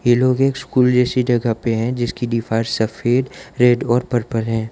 ये लोग ये स्कूल जैसी जगह पे हैं जिसकी दीवार सफेद रेड और पर्पल है।